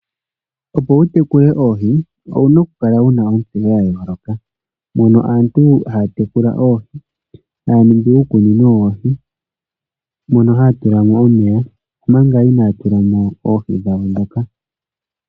Opo wutekule oohi owuna okukala wuna ondama yadhingoloka mono aantu haya tekula oohi , haya ningi iikunino yawo, mono haya tulamo omeya manga inaya tulamo oohi dhawo dhoka.